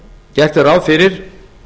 gert er ráð fyrir